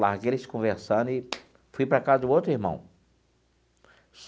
Larguei eles conversando e fui para a casa de um outro irmão.